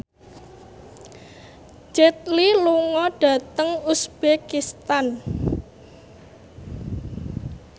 Jet Li lunga dhateng uzbekistan